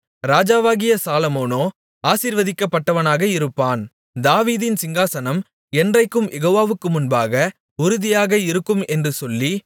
ராஜாவாகிய சாலொமோனோ ஆசீர்வதிக்கப்பட்டவனாக இருப்பான் தாவீதின் சிங்காசனம் என்றைக்கும் யெகோவாவுக்கு முன்பாக உறுதியாக இருக்கும் என்று சொல்லி